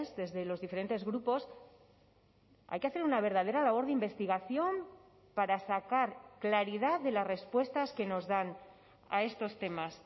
desde los diferentes grupos hay que hacer una verdadera labor de investigación para sacar claridad de las respuestas que nos dan a estos temas